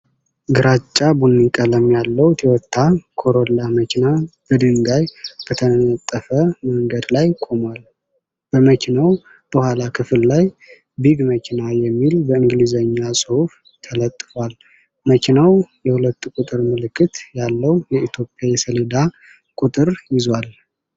ግራጫ-ቡኒ ቀለም ያለው ቶዮታ ኮሮላ መኪና በድንጋይ በተነጠፈ መንገድ ላይ ቆሟል። በመኪናው የኋላ ክፍል ላይ "ቢግ መኪና" የሚል በእንግሊዝኛ ጽሑፍ ተለጥፏል። መኪናው የ2 ቁጥር ምልክት ያለው የኢትዮጵያ የሰሌዳ ቁጥር ይዟል።